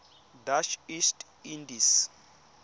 dutch east indies